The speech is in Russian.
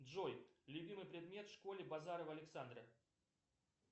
джой любимый предмет в школе базарова александра